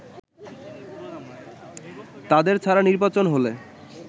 তাদের ছাড়া নির্বাচন হলে